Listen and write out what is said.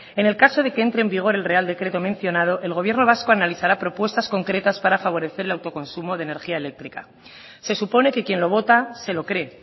en el caso de que entré en vigor el real decreto mencionado el gobierno vasco analizará propuestas concretas para favorecer el autoconsumo de energía eléctrica se supone que quien lo vota se lo cree